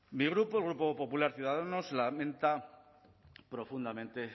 mi grupo el grupo popular ciudadanos lamenta profundamente